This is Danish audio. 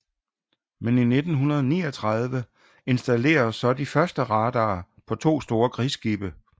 Men i 1939 installeredes så de første radarer på 2 store krigsskibe